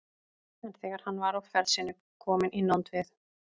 En þegar hann var á ferð sinni kominn í nánd við